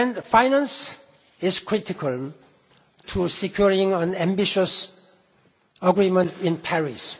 Fund. Finance is critical to securing an ambitious agreement in